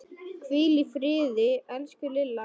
Hvíl í friði, elsku Lilla.